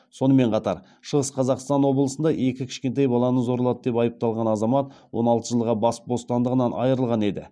сонымен қатар шығыс қазақстан облысында екі кішкентай баланы зорлады деп айыпталған азамат он алты жылға бас бостандығынан айырылған еді